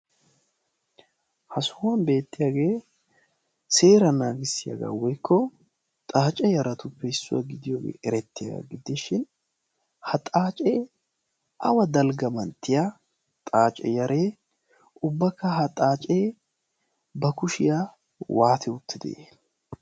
ha sohuwan beettiyaagee seera naagissiyaagaa woykko xaace yaratuppe issuwaa gidiyoogee erettiyaaga giddishin ha xaacee awa dalgga manttiya xaace yaree ubbakka ha xaacee ba kushiyaa waate uttide?